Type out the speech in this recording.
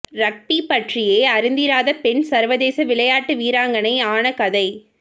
rugby பற்றியே அறிந்திராத பெண் சர்வதேச விளையாட்டு வீராங்கனை ஆன கதை